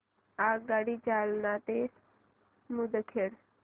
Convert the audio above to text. आगगाडी जालना ते मुदखेड